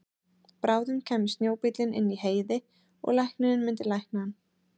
Bráðum kæmi snjóbíllinn inn í Heiði og læknirinn myndi lækna hann.